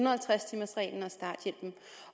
og halvtreds timers reglen